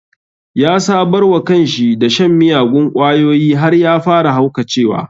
Ya sabarwa kanshi da shan miyagun ƙwayoyi har ya fara haukacewa